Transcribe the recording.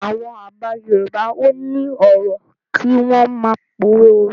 Àwọn àgbà Yorùbá ò ní ọ̀rọ̀ kí wọ́n má pòwe.